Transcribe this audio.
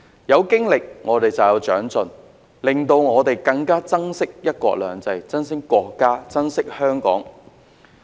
有經歷便有長進，令我們更加珍惜"一國兩制"，珍惜國家及香港。